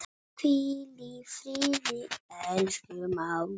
Hvíl í friði, elsku mágur.